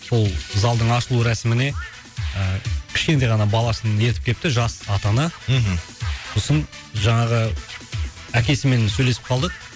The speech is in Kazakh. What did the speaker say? сол залдың ашылу рәсіміне ыыы кішкентай ғана баласын ертіп келіпті жас ата ана мхм сосын жаңағы әкесімен сөйлесіп қалдық